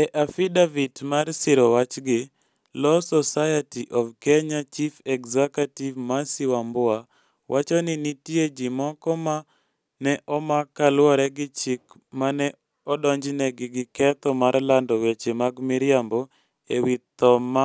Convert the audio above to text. E affidavit mar siro wachgi, Law Society of Kenya Chief Executive Mercy Wambua wacho ni nitie ji moko ma ne omak kaluwore gi chik ma ne odonjnegi gi ketho mar lando weche mag miriambo e wi tho ma